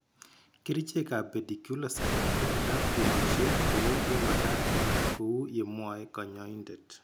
Kerichekab pediculicide komagat keboishe kou yemagat anan ko kou yemwoe kanyoindet